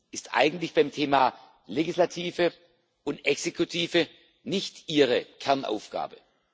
Das, ist eigentlich beim Thema Legislative und Exekutive nicht Ihre Kernaufgabe.